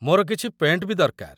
ମୋର କିଛି ପେଣ୍ଟ୍ ବି ଦରକାର ।